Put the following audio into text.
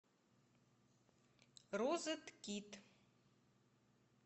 розеткид